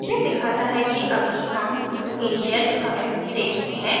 यह दिखाता है कि अभी हम initial commit stage में हैं